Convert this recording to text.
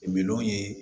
Miliyɔn ye